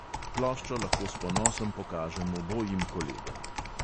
Ploščo lahko s ponosom pokažem obojim kolegom.